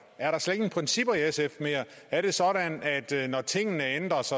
er der slet ingen principper i sf mere er det sådan at når tingene ændres